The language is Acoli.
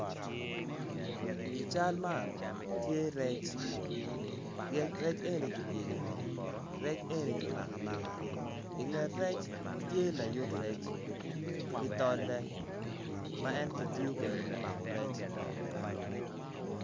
I cal man tye rec rec eni kipyelo ingom rec eni kimako amaka inget rec tye layut rec ki tolle ma en kitiyo kwede me mako rec.